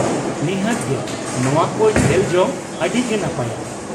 ᱱᱤᱦᱟᱹᱛ ᱜᱮ ᱱᱚᱶᱟ ᱠᱚ ᱧᱮᱞ ᱡᱚᱝ ᱟᱹᱰᱤ ᱜᱮ ᱱᱟᱯᱟᱭ ᱾